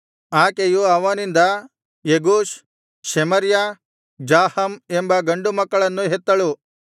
ಆಕೆಯು ಅವನಿಂದ Jeush Shemariah Zaham ಎಂಬ ಗಂಡು ಮಕ್ಕಳನ್ನು ಹೆತ್ತಳು